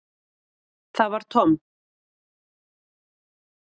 Það var Tom.